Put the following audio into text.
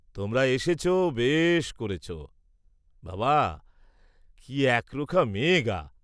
তোমরা এসেছ বেশ করেছ, বাবা, কি একরোখা মেয়ে গা?